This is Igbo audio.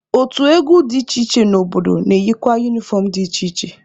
Otu egwu dị iche iche n'obodo na-eyikwa unifọm dị iche iche.